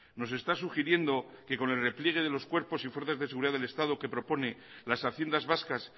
nos está sugiriendo que con el repliegue de los cuerpos y fuerzas de seguridad del estado que propone las haciendas vascas